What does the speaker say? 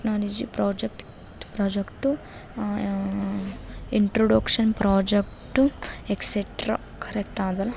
technology project project ah ah introduction project ಎಸ್ಸ್ತ್ರ correct ಆದ್ರ --